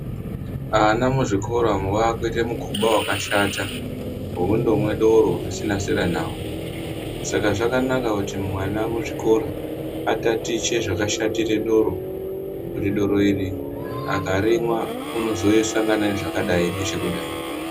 Ana muzvikora umu vakuita mukhuba wakashata wokundomwa doro zvisina zera navo, saka zvakanaka kuti ana muzvikoro atatiche zvakashatira doro kuti doro iri akarimwa unozosangana nezvakadai nezvekudai.